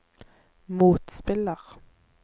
motspiller